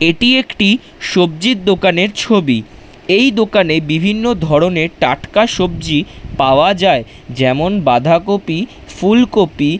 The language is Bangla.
এটি একটি সবজির দোকানের ছবি এই দোকানে বিভিন্ন ধরণের টাটকা সবজি পাওয়া যায় যেমন বাঁধাকপি ফুলকপি।